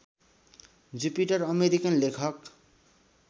Jupiter American लेखक